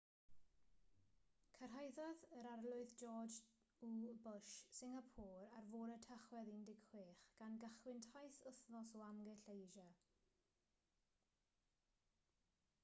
cyrhaeddodd yr arlywydd george w bush singapôr ar fore tachwedd 16 gan gychwyn taith wythnos o amgylch asia